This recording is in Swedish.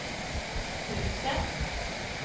husen